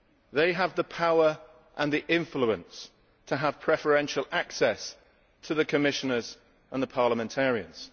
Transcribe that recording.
They have the power and the influence to have preferential access to the Commissioners and the parliamentarians.